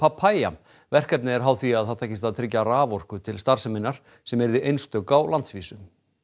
papaya verkefnið er háð því að það takist að tryggja raforku til starfseminnar sem yrði einstök á landsvísu